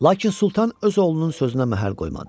Lakin Sultan öz oğlunun sözünə məhəl qoymadı.